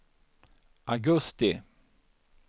augusti